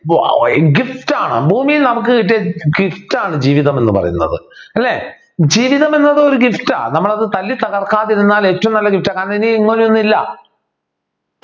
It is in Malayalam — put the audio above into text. ഏർ Gift ആണ് ഭൂമിയിൽ നമ്മൾക്ക് കിട്ടിയ Gift ആണ് ജീവിതം എന്നു പറയുന്നത് അല്ലെ ജീവിതം എന്നത് ഒരു Gift നമ്മൾ അത് തല്ലി തകർക്കാതിരുന്നാൽ ഏറ്റവും നല്ല Gift ആ കാരണം ഇങ്ങനെ ഒന്നില്ല